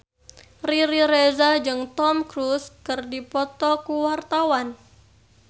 Riri Reza jeung Tom Cruise keur dipoto ku wartawan